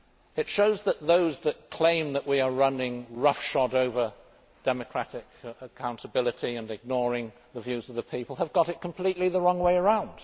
It shows that those that claim that we are running roughshod over democratic accountability and ignoring the views of the people have got it completely the wrong way around.